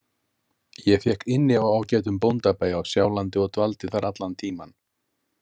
Ég fékk inni á ágætum bóndabæ á Sjálandi og dvaldi þar allan tímann.